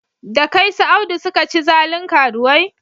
Da kai su Audu suka ci zalin karuwai?